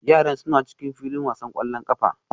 Yaran suna cikin filin wasan ƙwallon ƙafa